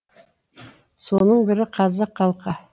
соның бірі қазақ халқы